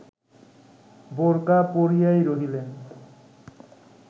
বোরকা পরিয়াই রহিলেন